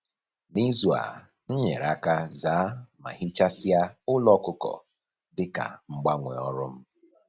N'izu a, m nyere aka zaa ma hichasịa ụlọ ọkụkọ dịka mgbanwe ọrụ m